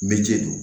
Mɛ ji don